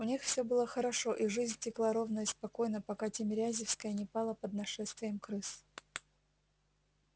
у них всё было хорошо и жизнь текла ровно и спокойно пока тимирязевская не пала под нашествием крыс